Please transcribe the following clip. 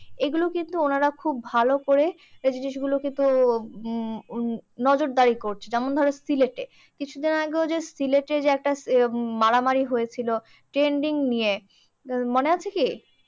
এইগুলো কিন্তু উনারা খুব ভালো করে এই জিনিসগুলো কিন্তু উম উম নজরদারি করছে। যেমন ধরো সিলেটে, কিছুদিন আগে ঐযে সিলেটে যে একটা মারামারি হয়েছিল changing নিয়ে, মনে আছে কি?